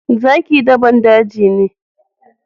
Zaki dabban daji ne.